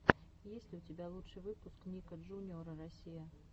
есть ли у тебя лучший выпуск ника джуниора россия